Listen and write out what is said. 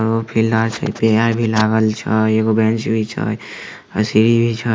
पेड़ भी लागल छै एगो बेंच भी छै सीढ़ी भी छै।